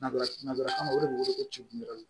Narafama o de bɛ wele ko cɛ